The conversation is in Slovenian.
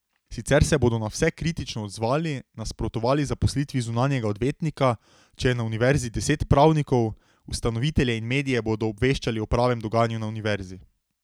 Sicer se bodo na vse kritično odzvali, nasprotovali zaposlitvi zunanjega odvetnika, če je na univerzi deset pravnikov, ustanovitelje in medije bodo obveščali o pravem dogajanju na univerzi.